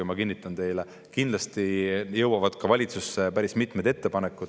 Ja ma kinnitan teile, et kindlasti jõuavad valitsusse päris mitmed ettepanekud.